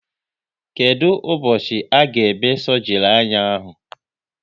Kedụ ụbọchị a ga eme sọgri anya ahụ?